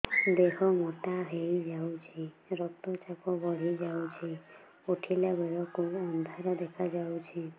ଦେହ ମୋଟା ହେଇଯାଉଛି ରକ୍ତ ଚାପ ବଢ଼ି ଯାଉଛି ଉଠିଲା ବେଳକୁ ଅନ୍ଧାର ଦେଖା ଯାଉଛି